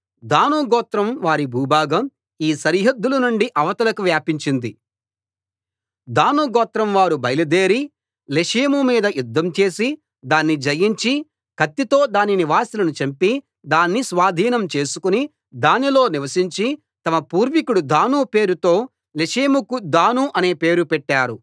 దాను గోత్రం వారి భూభాగం ఈ సరిహద్దుల నుండి అవతలకు వ్యాపించింది దాను గోత్రంవారు బయలుదేరి లెషెము మీద యుద్ధం చేసి దాన్ని జయించి కత్తితో దాని నివాసులను చంపి దాన్ని స్వాధీనం చేసుకుని దానిలో నివసించి తమ పూర్వీకుడు దాను పేరుతో లెషెముకు దాను అనే పేరు పెట్టారు